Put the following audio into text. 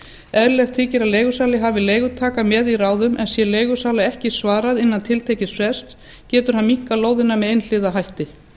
eðlilegt þykir að leigusali hafi leigutaka með í ráðum en sé leigusala ekki svarað innan tiltekins frests getur hann minnkað lóðina með einhliða hætti